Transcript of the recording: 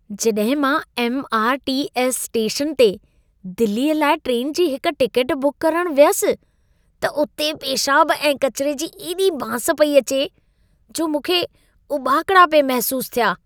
जॾहिं मां MRTS station ते दिल्लीअ लाइ ट्रेन जी हिक टिकेट बुक करणु वयसि, त उते पेशाब ऐं कचिरे जी एॾी बांस पई अचे, जो मूंखे उॿाकड़ा पिए महिसूस थिया!